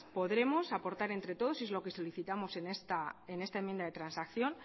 podremos aportar entre todos y es lo que solicitamos en esta enmienda de transacción